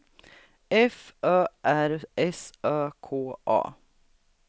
F Ö R S Ö K A